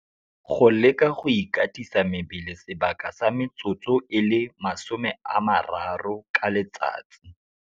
Go leka go ikatisa mebele sebaka sa metsotso e le 30 ka letsatsi.